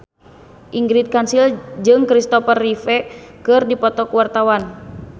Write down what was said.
Ingrid Kansil jeung Kristopher Reeve keur dipoto ku wartawan